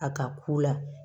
A ka k'u la